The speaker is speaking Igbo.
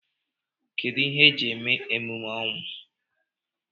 Kedụ ihe eji eme emume ọnwụ?